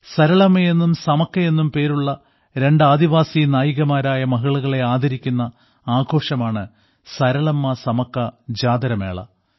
സരളമ്മയെന്നും സമക്ക എന്നും പേരുള്ള രണ്ട് ആദിവാസി നായികമാരായ മഹിളകളെ ആദരിക്കുന്ന ആഘോഷമാണ് സരളമ്മ സമക്ക ജാത്ര മേള